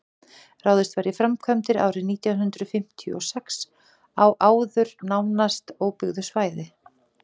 ráðist var í framkvæmdir árið nítján hundrað fimmtíu og sex á áður nánast óbyggðu svæði